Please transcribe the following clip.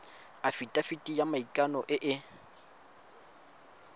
afitafiti ya maikano e e